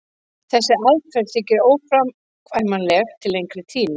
þessi aðferð þykir óframkvæmanleg til lengri tíma